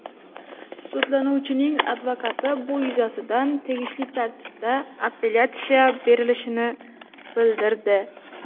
Sudlanuvchining advokati bu yuzasidan tegishli tartibda appelyatsiya berilishini bildirdi.